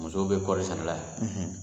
Musow bɛ kɔɔri sɛnɛla